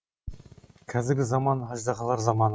қазіргі заман аждаһалар заманы